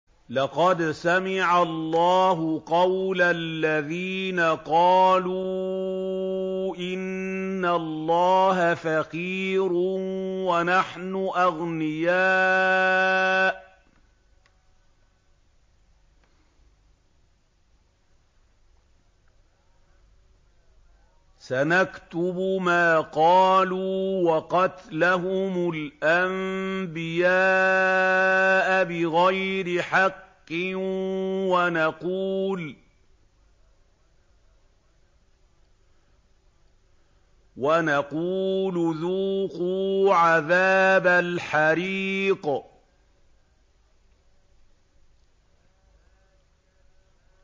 لَّقَدْ سَمِعَ اللَّهُ قَوْلَ الَّذِينَ قَالُوا إِنَّ اللَّهَ فَقِيرٌ وَنَحْنُ أَغْنِيَاءُ ۘ سَنَكْتُبُ مَا قَالُوا وَقَتْلَهُمُ الْأَنبِيَاءَ بِغَيْرِ حَقٍّ وَنَقُولُ ذُوقُوا عَذَابَ الْحَرِيقِ